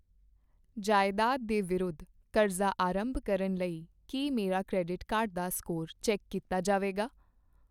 ਜਾਇਦਾਦ ਦੇ ਵਿਰੁੱਧ ਕਰਜ਼ਾ ਆਰੰਭ ਕਰਨ ਲਈ ਕੀ ਮੇਰਾ ਕਰੈਡਿਟ ਕਾਰਡ ਦਾ ਸਕੋਰ ਚੈੱਕ ਕੀਤਾ ਜਾਵੇਗਾ ?